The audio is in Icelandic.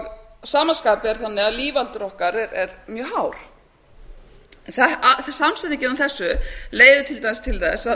að sama skapi er lífaldur okkar mjög hár en samsetningin á þessu leiðir til dæmis til þess